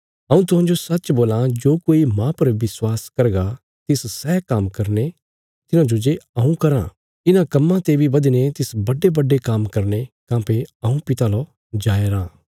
हऊँ तुहांजो सचसच बोलां जो कोई माह पर विश्वास करगा तिस सै काम्म करने तिन्हांजे हऊँ कराँ इन्हां कम्मां ते बी बधीने तिस बड्डेबड्डे काम्म करने काँह्भई हऊँ पिता लौ जाय राँ